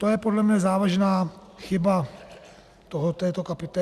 To je podle mě závažná chyba tohoto podprogramu.